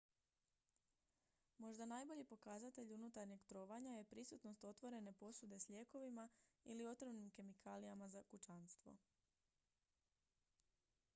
možda najbolji pokazatelj unutarnjeg trovanja je prisutnost otvorene posude s lijekovima ili otrovnim kemikalijama za kućanstvo